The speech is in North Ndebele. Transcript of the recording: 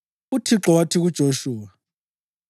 UThixo wathi kuJoshuwa,